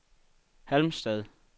Halmstad